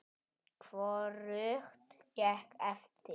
Hvorugt gekk eftir.